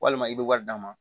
Walima i bɛ wari d'a ma